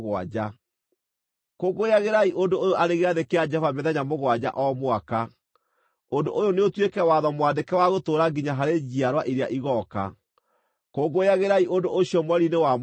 Kũngũyagĩrai ũndũ ũyũ arĩ gĩathĩ kĩa Jehova mĩthenya mũgwanja o mwaka. Ũndũ ũyũ nĩ ũtuĩke watho mwandĩke wa gũtũũra nginya harĩ njiarwa iria igooka; kũngũyagĩrai ũndũ ũcio mweri-inĩ wa mũgwanja.